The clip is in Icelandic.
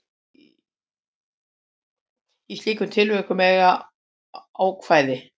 Í slíkum tilvikum eiga ákvæði